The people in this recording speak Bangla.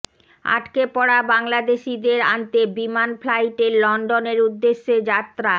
আটকে পড়া বাংলাদেশীদের আনতে বিমান ফ্লাইটের লন্ডনের উদ্দেশে যাত্রা